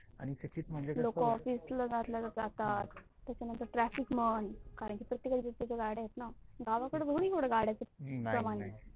लोक ऑफिस ला चालले जातात, त्यानंतर ट्राफिक माहोल प्रत्येका कडे गाड्या आहेत न, गावाकड थोडी येवड गाड्याच प्रमाण आहे.